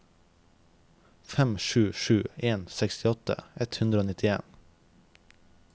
fem sju sju en sekstiåtte ett hundre og nittien